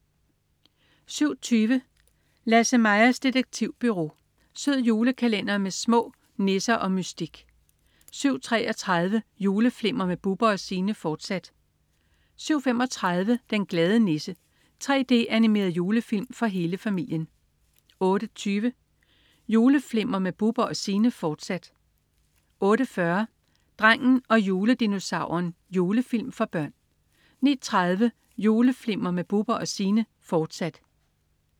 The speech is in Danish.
07.20 Lasse-Majas Detektivbureau. Sød julekalender med sne, nisser og mystik 07.33 Juleflimmer med Bubber & Signe, fortsat 07.35 Den glade nisse. 3D-animeret julefilm for hele familien 08.20 Juleflimmer med Bubber & Signe, fortsat 08.40 Drengen og juledinosauren. Julefilm for børn 09.30 Juleflimmer med Bubber & Signe, fortsat